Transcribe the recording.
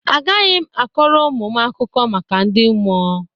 Agaghị m akọrọ ụmụ m akụkọ maka ndị mmụọ.